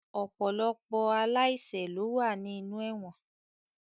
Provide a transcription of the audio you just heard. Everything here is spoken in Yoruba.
Ọ̀pọ̀lọpọ̀ aláìṣẹ̀ ló wà ní inú ẹ̀wọ̀n